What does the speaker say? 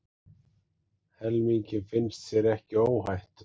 Helmingi finnst sér ekki óhætt